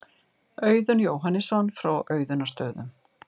Auðunn Jóhannesson frá Auðunnarstöðum.